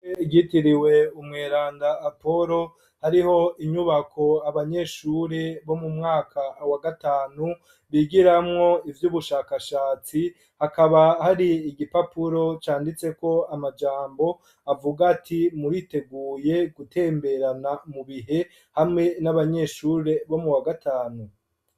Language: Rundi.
Iryitiriwe umweranda apolo hariho inyubako abanyeshuri bo mu mwaka wa gatanu bigiramwo ivy'ubushakashatsi hakaba hari igipapuro canditseko amajambo avuga ati muriteguye gutemberana mu bihe hamwe n'abanyeshuri bo mu wa gatanu.